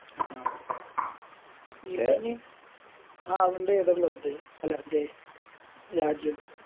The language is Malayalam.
ആഹ് ഇനി ആ അവൻറെ ഏതാ Club അല്ല ഇത് രാജ്യം